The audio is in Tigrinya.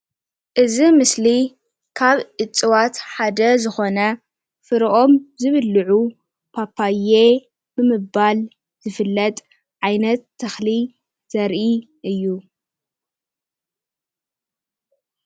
እዚ ምስሊ ካብ እጽዋት ሓደ ዝኾነ ፍረኦም ዝብልዑ ፓፓዬ ብምባል ዝፍለጥ ዓይነት ተኽሊ ዘርኢ እዩ።